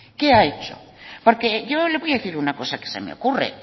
qué ha hecho porque yo le voy a decir una cosa que se me ocurre